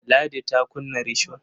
Ladi ta kunna risho.